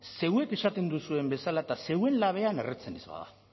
zeuek esaten duzuen bezala eta zeuen labean erretzen ez bada